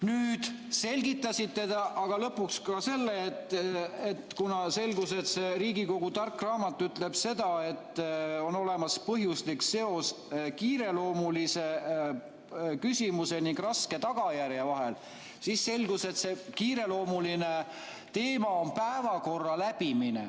Nüüd selgitasite te aga lõpuks ka seda, kuna selgus, et see Riigikogu tark raamat ütleb, et on olemas põhjuslik seos kiireloomulise küsimuse ning raske tagajärje vahel, et see kiireloomuline teema on päevakorra läbimine.